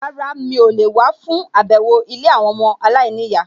Rárá, mi ò lè wá fún àbẹ̀wò ilé àwọn ọmọ aláìníyàá